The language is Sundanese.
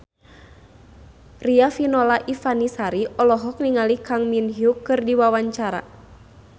Riafinola Ifani Sari olohok ningali Kang Min Hyuk keur diwawancara